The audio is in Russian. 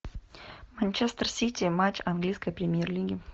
манчестер сити матч английской премьер лиги